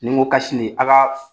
Ni n go nin a ka